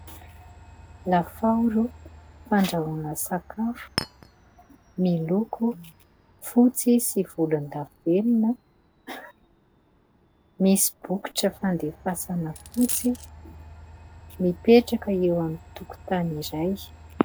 Lafaoro fandrahoana sakafo. Miloko fotsy sy volondavenona. Misy bokotra fandefasana fotsy. Mipetraka eo amin'ny tokontany iray.